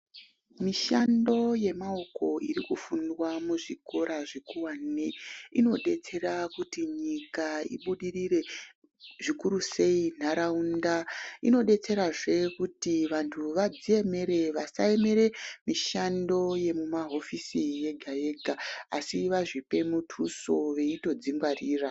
Mushando yemaoko irikufundwa muzvikora zvikuwane inodetsera kuti nyika ibudirire zvikurusei nharaunda inodetserazve kuti vanhu vazviemere vasamirira mishando yemumahofisi yega-yega asi vazvipe mutuso veitodzingwarira.